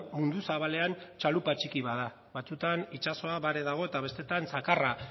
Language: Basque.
mundu zabalean txalupa txiki bat da batzuetan itsasoa bare dago eta besteetan zakarra